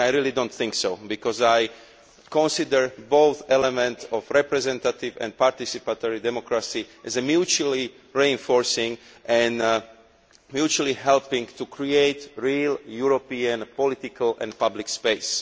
I really do not think so because I consider both elements of representative and participatory democracy as mutually reinforcing, and both help to create real European political and public space.